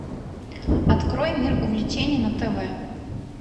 открой мир увлечений на тв